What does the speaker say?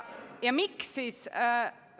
Ja miks siis?